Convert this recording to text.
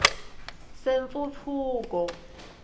sentfutfuko